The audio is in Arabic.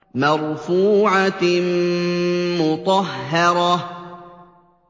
مَّرْفُوعَةٍ مُّطَهَّرَةٍ